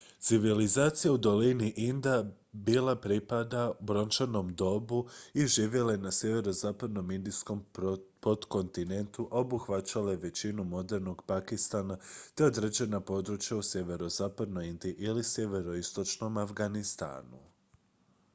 civilizacija u dolini inda bila pripada brončanom dobu i živjela je na sjeverozapadnom indijskom potkontinentu a obuhvaćala je većinu modernog pakistana te određena područja u sjeverozapadnoj indiji i sjeveroistočnom afganistanu